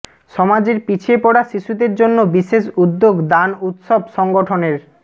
সমাজের পিছিয়ে পড়া শিশুদের জন্য বিশেষ উদ্যোগ দান উৎসব সংগঠনের